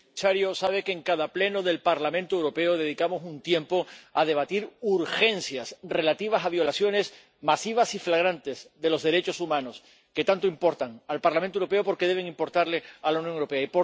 Señor presidente, señor comisario, sabe que en cada Pleno del Parlamento Europeo dedicamos un tiempo a debatir urgencias relativas a violaciones masivas y flagrantes de los derechos humanos, que tanto importan al Parlamento Europeo porque deben importarle a la Unión Europea.